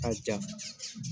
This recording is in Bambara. K'a ja.